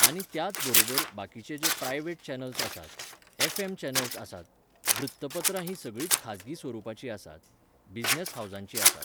आनी त्याच बरोबर बाकिचे जे प्रायव्हेट चेनल्स आसात, एफ एम चेनल्स आसात, वृत्तपत्रां हीं सगळींच खाजगी स्वरुपाचीं आसात. बिजनॅस हावजांची आसात